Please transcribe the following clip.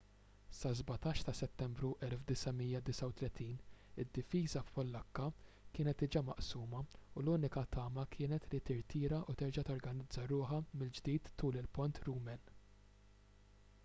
sas-17 ta' settembru 1939 id-difiża pollakka kienet diġà maqsuma u l-unika tama kienet li tirtira u terġa' torganizza ruħha mill-ġdid tul il-pont rumen